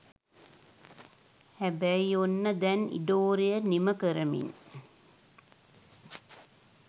හැබැයි ඔන්න දැන් ඉඩෝරය නිමකරමින්